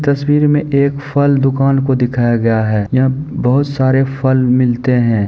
इस तस्वीर में एक फल दुकान को दिखाया गया है। यहाँ बहुत सारे फल मिलते हैं।